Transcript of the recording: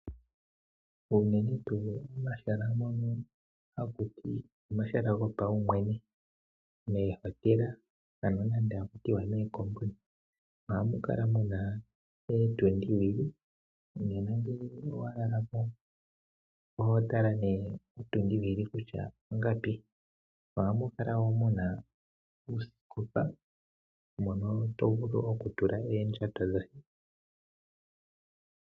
Unene pomahala ngono haku tiwa omahala gopaumwene, ngaashi moohotela, ohamu kala mu na ootundi (oowili), nuuna wa lala mo oho tala ethimbo kotundi. Ohamu kala wo mu na oosikopa mono to vulu okutula oondjato dhoye.